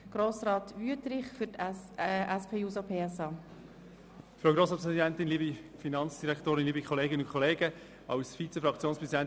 Als Vizefraktionspräsident ist es ein wenig schwierig zu entscheiden, ob ich nun ein Einzelvotum abgebe oder ein Votum für die Fraktion.